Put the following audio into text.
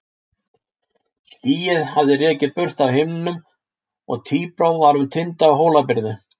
Skýin hafði rekið burt af himninum og tíbrá var um tinda Hólabyrðu.